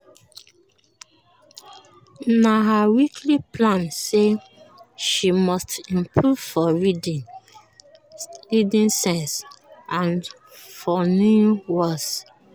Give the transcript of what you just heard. na her weekly plan say she must improve for reading sense and for new words.